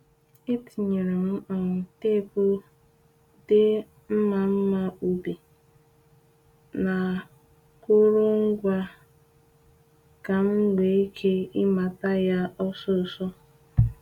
E tinyere m um teepu dee ‘Mma Mma Ubi’ n’akụrụngwa m ka m nwee ike ịmata ya osisor